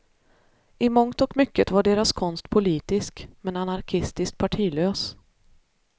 I mångt och mycket var deras konst politisk, men anarkistiskt partilös.